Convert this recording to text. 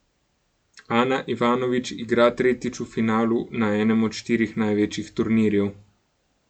Ana Ivanović igra tretjič v finalu na enem od štirih največjih turnirjev.